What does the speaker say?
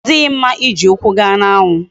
Odighi mma iji ukwu gaa na anwu